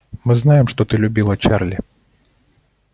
мы знаем что ты любила чарли